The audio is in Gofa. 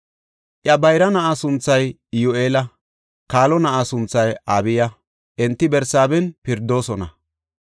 Iya bayra na7aa sunthay Iyyu7eela; kaalo na7a sunthay Abiya; enti Barsaaben pirdoosona.